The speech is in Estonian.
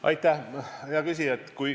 Aitäh, hea küsija!